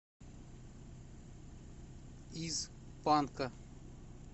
из панка